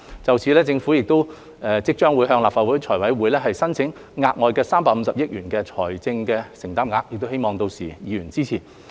就此政府即將向立法會財務委員會申請額外350億元的財政承擔額，希望議員屆時支持。